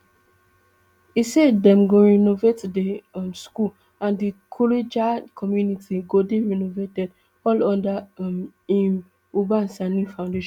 e say dem go renovate di um school and di kuriga community go dey renovated all under um im uba sani foundation